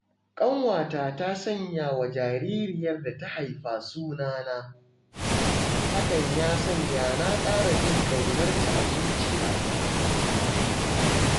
Ƙanwata ta sanyawa jaririyar da ta haifa suna na, hakan ya sanya na ƙara jin ƙaunarta a zuciyata.